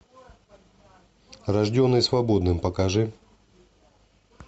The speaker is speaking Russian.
рожденный свободным покажи